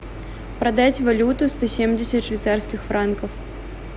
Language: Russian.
продать валюту сто семьдесят швейцарских франков